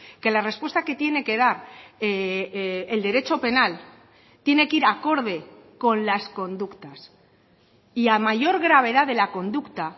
que la respuesta que tiene que dar el derecho penal tiene que ir acorde con las conductas y a mayor gravedad de la conducta